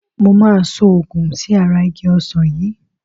Mo máa so òògun sí ara igi Ọsán yìí.